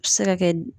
A bɛ se ka kɛ